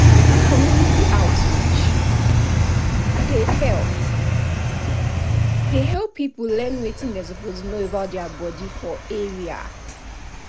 community outreach dey help dey help people learn wetin dem suppose know about their body for area.